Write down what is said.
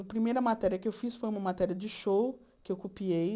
A primeira matéria que eu fiz foi uma matéria de show, que eu copiei.